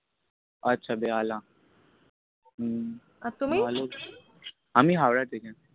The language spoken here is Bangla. আচ্ছা বেহালা। হু আর তুমি? আমি হাওড়া থেকে।